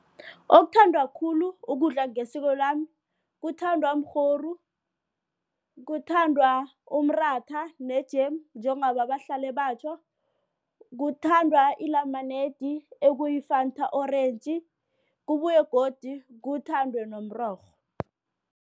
Okuthandwa khulu ukudla ngesiko lami kuthandwa mrhoru, kuthandwa umratha ne-jemu njengoba bahlale batjho, kuthandwa inenamanedi ekuyi-Fanta orentji kubuye godu kuthathdwe nomrorho.